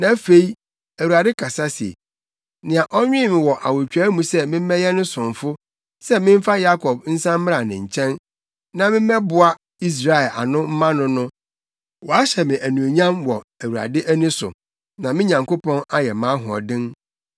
Na afei, Awurade kasa se, nea ɔnwen me wɔ awotwaa mu sɛ memmɛyɛ ne somfo sɛ memfa Yakob nsan mmra ne nkyɛn na me mmoaboa Israel ano mma no no, wahyɛ me anuonyam wɔ Awurade ani so na me Nyankopɔn ayɛ mʼahoɔden.